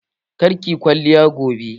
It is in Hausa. Ka da ki yi kwalliya gobe!